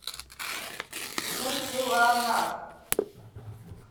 кунтиланак